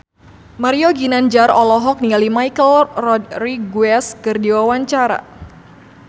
Mario Ginanjar olohok ningali Michelle Rodriguez keur diwawancara